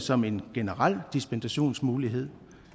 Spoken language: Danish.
som en generel dispensationsmulighed